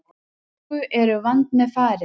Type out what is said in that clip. Augun eru vandmeðfarin.